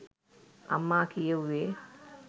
අම්මා කියෙව්වේ